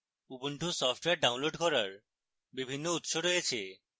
ubuntu software download করার বিভিন্ন উত্স রয়েছে